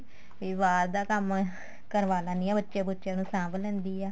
ਵੀ ਬਾਹਰ ਦਾ ਕੰਮ ਹੋਏ ਕਰਵਾ ਲੈਣੀ ਆ ਬੱਚੇ ਬੁੱਚੇ ਨੂੰ ਸਾਂਭ ਲੈਂਦੀ ਏ